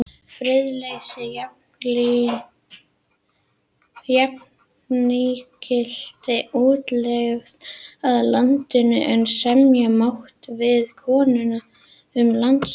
Friðleysi jafngilti útlegð af landinu, en semja mátti við konung um landvist.